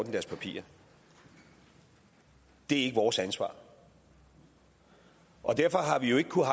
i deres papirer det er ikke vores ansvar og derfor har vi jo ikke kunnet